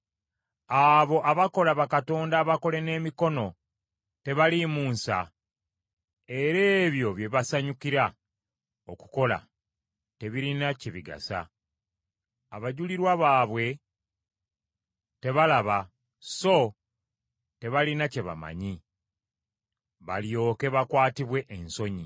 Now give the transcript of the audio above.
Abo abakola bakatonda abakole n’emikono tebaliimu nsa, era ebyo bye basanyukira okukola tebirina kye bigasa. Abajulirwa baabwe tebalaba so tebalina kye bamanyi, balyoke bakwatibwe ensonyi.